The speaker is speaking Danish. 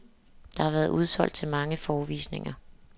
Der har været udsolgt til mange forevisninger.